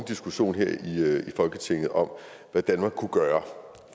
diskussion her i folketinget om hvad danmark kunne gøre